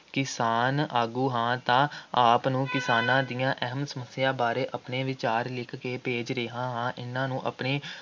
ਕਿਸਾਨ ਆਗੂ ਹਾਂ ਤਾਂ ਆਪ ਨੂੰ ਕਿਸਾਨਾਂ ਦੀਆਂ ਅਹਿਮ ਸਮੱਸਿਆਵਾਂ ਬਾਰੇ ਆਪਣੇ ਵਿਚਾਰ ਲਿਖ ਕੇ ਭੇਜ ਰਿਹਾ ਹਾਂ । ਇਨ੍ਹਾਂ ਨੂੰ ਆਪਣੀ